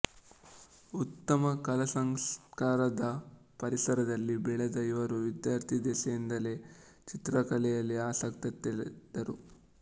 ಉತ್ತಮ ಕಲಾಸಂಸ್ಕಾರದ ಪರಿಸರದಲ್ಲಿ ಬೆಳೆದ ಇವರು ವಿದ್ಯಾರ್ಥಿದೆಸೆಯಿಂದಲೇ ಚಿತ್ರಕಲೆಯಲ್ಲಿ ಆಸಕ್ತಿ ತಳೆದರು